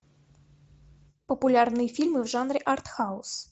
популярные фильмы в жанре артхаус